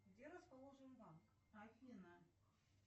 где расположен банк афина